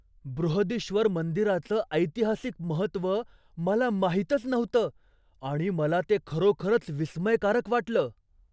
बृहदीश्वर मंदिराचं ऐतिहासिक महत्त्व मला माहीतच नव्हतं आणि मला ते खरोखरच विस्मयकारक वाटलं.